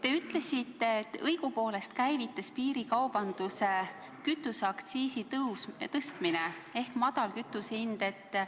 Te ütlesite, et õigupoolest käivitas piirikaubanduse kütuseaktsiisi tõstmine ehk madal kütusehind Lätis.